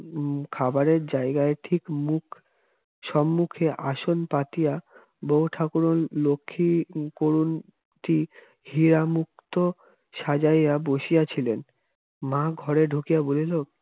উম খাবারের জায়গার ঠিক মুখ সুমুখে আসন পাতিয়া বৌ ঠাকুরণ লক্ষ্মী করুনটি হীরামুক্ত সাজাইয়া বসাইয়া ছিলেন মা ঘরে ঢুকে বলিল